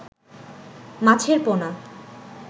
মাছের পোনা